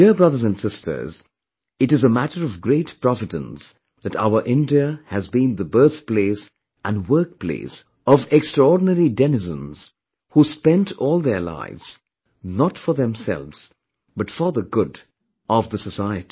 My dear brothers and sisters, it is a matter of great providence that our India has been the birthplace and workplace of extraordinary denizens, who spent all their lives, not for themselves, but for the good of the society